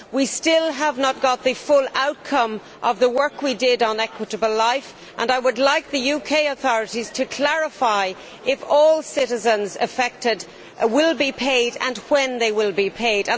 We still have not got the full outcome of the work we did on Equitable Life, and I would like the UK authorities to clarify whether all citizens affected will be paid and when they will be paid.